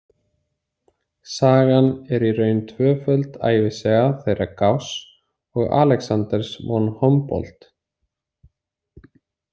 Sagan er í raun tvöföld ævisaga þeirra Gauss og Alexanders von Humboldt.